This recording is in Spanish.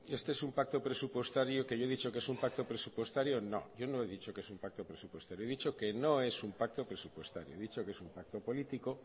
este es un pacto presupuestario que yo he dicho que es un pacto presupuestario no yo no he dicho que es un pacto presupuestario he dicho que no es un pacto presupuestario he dicho que es un pacto político